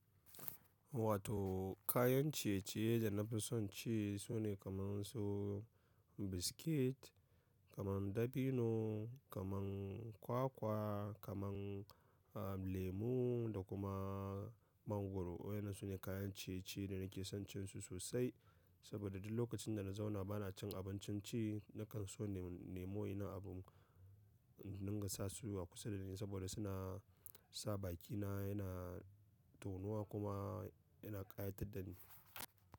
Wato kayan ciye-ciye da na fi son ci sune kaman su biskit, kaman dabino, kaman kwakwa, kaman, lemu da kuma mangwaro. Wayannan su ne kayan ciye-ciye da nake son cin su sosai saboda duk lokacin da na zauna ba na cin abincin ci nakan so nemo ina abin na gasa su a kusa da ni saboda suna sa bakina yana tonowa kuma yana ƙayatar da ni.